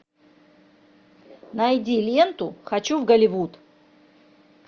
найди ленту хочу в голливуд